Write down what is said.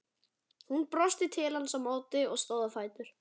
Hún brosti til hans á móti og stóð á fætur.